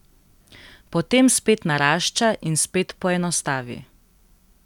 Potem spet narašča in spet poenostavi.